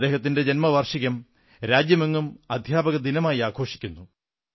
അദ്ദേഹത്തിന്റെ ജന്മവാർഷികം രാജ്യമെങ്ങും അധ്യാപകദിനമായി ആഘോഷിക്കുന്നു